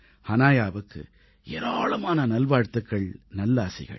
ஹனாயாவுக்கு ஏராளமான நல்வாழ்த்துக்கள் நல்லாசிகள்